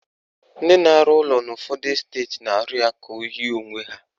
Ndị na-arụ ụlọ n'ụfọdụ esteti na-arụ ya ka o yie onwe ha